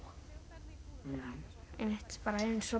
einmitt bara eins og